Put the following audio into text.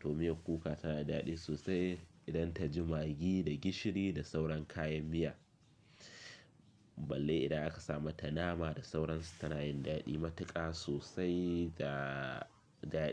To miyar kuka tana daɗi sosai idan ta ji magi da gishiri da sauran kayan miya. Balle idan aka sa mata nama da sauransu tana yin daɗi matuƙa sosai da, daɗi.